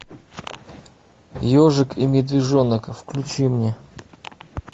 ежик и медвежонок включи мне